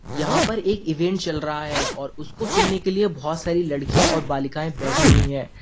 यहां पर एक इवेंट चल रहा है और उसको सुनने के लिए बहुत सारी लड़कियां और बालिकाएं बैठी हुई है।